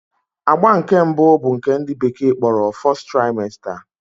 Agba nke mbụ bụ nke ndị bekee kpọrọ 'First Trimester'